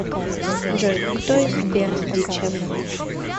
джой кто из бердичев